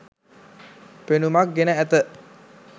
පෙනුමක් ගෙන ඇත.